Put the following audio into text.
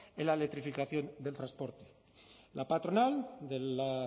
en la electrificación del transporte la patronal de la